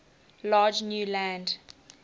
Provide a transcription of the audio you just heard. large new land